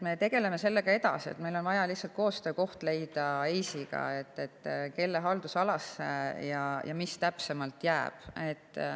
Me tegeleme sellega edasi, meil on vaja lihtsalt leida koostöökoht EIS‑iga, kelle haldusalasse mis täpsemalt jääb.